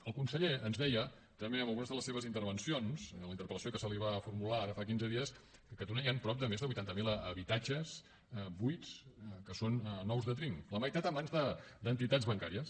el conseller ens deia també en algunes de les seves intervencions i en la interpel·lació que se li va formular ara fa quinze dies que a catalunya hi han prop de més de vuitanta mil habitatges buits que són nous de trinca la meitat a mans d’entitats bancàries